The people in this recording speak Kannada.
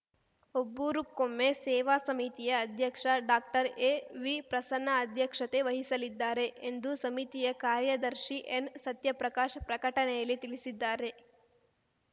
ಬಬ್ಬೂರುಕೊಮ್ಮೆ ಸೇವಾ ಸಮಿತಿಯ ಅಧ್ಯಕ್ಷ ಡಾಕ್ಟರ್ಎವಿಪ್ರಸನ್ನ ಅಧ್ಯಕ್ಷತೆ ವಹಿಸಲಿದ್ದಾರೆ ಎಂದು ಸಮಿತಿಯ ಕಾರ್ಯದರ್ಶಿ ಎನ್‌ಸತ್ಯಪ್ರಕಾಶ್‌ ಪ್ರಕಟಣೆಯಲ್ಲಿ ತಿಳಿಸಿದ್ದಾರೆ